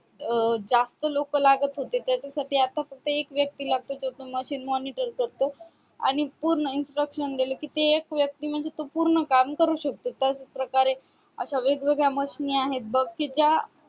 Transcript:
अह जास्त लोकं लागत होते त्याच्यासाठी फक्त आता एक व्यक्ती लागतो तो machine monitor करतो आणि पूर्ण instruction गेले कि ते एक व्यक्ती म्हणजे तो पूर्ण काम करू शकतो त्याचप्रकारे अशा machine आहेत बघ कि त्या